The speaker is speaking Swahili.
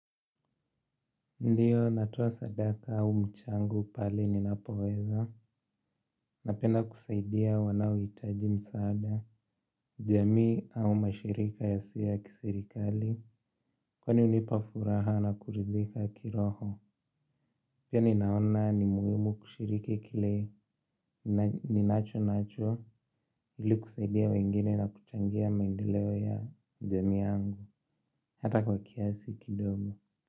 Ndiyo natoa sadaka au mchango pale ninapoweza. Napenda kusaidia wanaohitaji msaada, jamii au mashirika yasiyo ya kisirikali, kunanipa furaha na kuridhika kiroho. Pia ninaona ni muhimu kushiriki kile ninacho nacho ili kusaidia wengine na kuchangia maendeleo ya jamii yangu hata kwa kiasi kidogo.